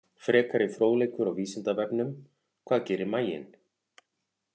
Frekari fróðleikur á Vísindavefnum: Hvað gerir maginn?